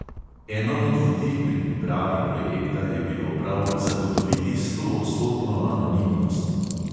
"Eno od vodil pri pripravi projekta je bilo prav zagotoviti stoodstotno anonimnost."